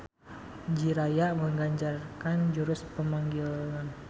Jiraiya menganjarkan jurus pemanggilan.